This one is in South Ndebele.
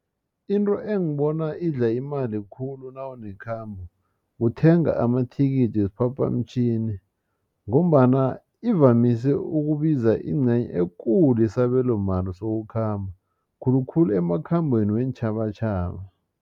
Into engibona idla imali khulu nawunekhambo kuthenga amathikithi wesiphaphamtjhini ngombana ivamise ukubiza ingcenye ekulu yesabelomali sokukhamba khulukhulu emakhambeni weentjhabatjhaba.